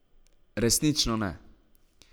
Resnično ne.